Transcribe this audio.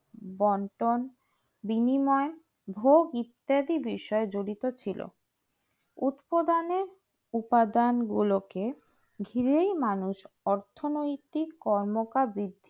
বন্টন বিনিময়ে ভোগ ইত্যাদি বিষয়গুলি যরিত ছিল উৎপাদনে উপাদান গুলোকে ঘিরে মানুষ অর্থনৈতিক কর্মকার বৃদ্ধি